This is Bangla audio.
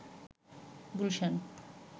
গুলশান